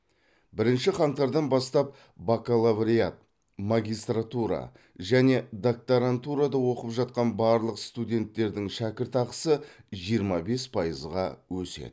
бірінші қаңтардан бастап бакалавриат магистратура және докторантурада оқып жатқан барлық студенттердің шәкіртақысы жиырма бес пайызға өседі